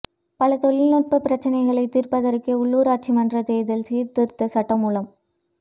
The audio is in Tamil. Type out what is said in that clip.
பல தொழில்நுட்பப் பிரச்சினைகளைத் தீர்ப்பதற்கே உள்ளுராட்சி மன்ற தேர்தல் சீர்திருத்த சட்டமூலம்